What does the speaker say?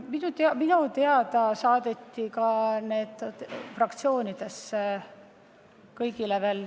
Minu teada saadeti need materjalid kõikidesse fraktsioonidesse.